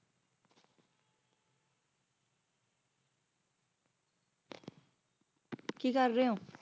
ਕੀ ਕਰ ਰਹੇ ਹੋ